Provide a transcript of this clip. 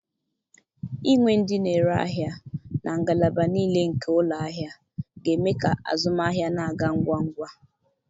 Inwe ndị na-ere ahịa na ngalaba niile nke ụlọ ahịa ga-eme ka azụmahịa na-aga ngwa ngwa.